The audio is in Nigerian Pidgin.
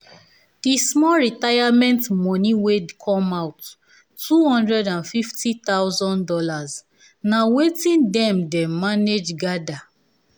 di small retirement moni wey come out two hundred and fifty thousand dollars na watin dem dem manage gather